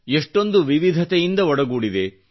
ಇಷ್ಟೊಂದು ವಿವಿಧತೆಯಿಂದ ಒಡಗೂಡಿದೆ